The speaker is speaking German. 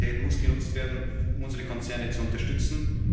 werden. Die Flexibilität muss genutzt werden, um unsere Konzerne zu